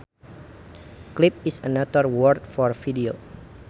Clip is another word for video